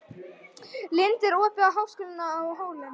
Lind, er opið í Háskólanum á Hólum?